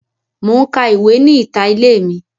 Mo n ka ìwé ni ìta ilé mi.